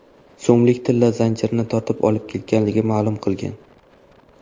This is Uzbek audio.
so‘mlik tilla zanjirini tortib olib ketganligini ma’lum qilgan.